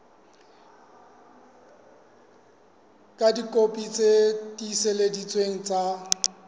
ka dikopi tse tiiseleditsweng tsa